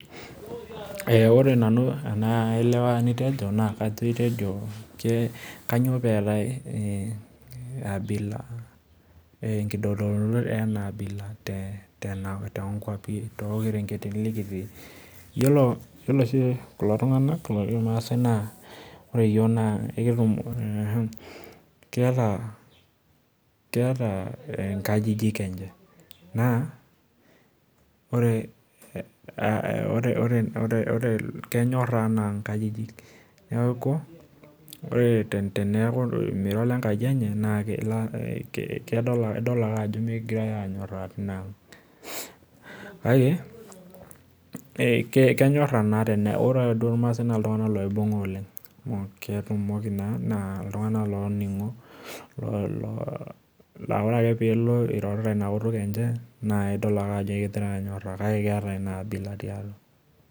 Ore nanu naa aelewa enitejo naa itejo kainyee pee etae kitodoluto ena abila tookwapi ,yiolo oshi kulo tunganak oji irmaasai naa keeta nkajijik enche naa kenyora enaa nkajijik ,neeku ore tenaa mira olekaji enye naa idol ake ajo mikingirae anyoraa tina ang. kake ore duo irmaasai naa ltungank loibunga oleng naa ketumoki naa iltunganak looningo laa ore ake pee ilo ororita ina kutuk enchan naa idol ake ajo ekingiare anyoraa kake keeta ina abila tiatua.